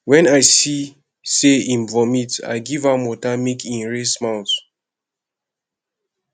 wen i see sey im don vomit i give am water make e rinse mouth